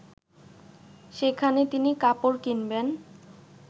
সেখানে তিনি কাপড় কিনবেন